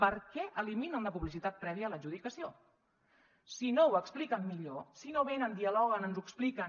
per què eliminen la publicitat prèvia a l’adjudicació si no ho expliquen millor si no venen dialoguen ens ho expliquen